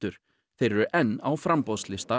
þeir eru enn á framboðslista